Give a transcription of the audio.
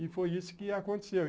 E foi isso que aconteceu.